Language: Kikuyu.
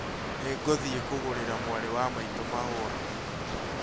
Nĩ ngũthiĩ kũgũrĩra mwarĩ wa maitũ mahũa